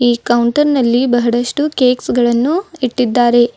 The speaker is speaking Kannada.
ಈ ಕೌಂಟರ್ ನಲ್ಲಿ ಬಹಳಷ್ಟು ಕೇಕ್ಸ್ ಗಳನ್ನು ಇಟ್ಟಿದ್ದಾರೆ.